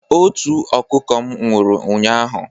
Otu ọkụkọ m nwụrụ ụnyaahụ.